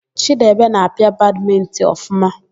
Chidebe na-apịa badmịntịn ọfụma.